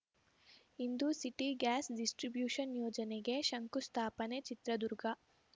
ಇಂದು city gas distribution ಯೋಜನೆಗೆ ಶಂಕುಸ್ಥಾಪನೆ ಚಿತ್ರದುರ್ಗ